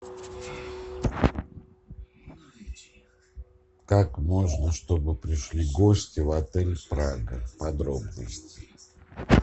как можно чтобы пришли гости в отель прага подробности